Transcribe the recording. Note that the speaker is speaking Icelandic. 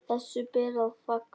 Þessu ber að fagna.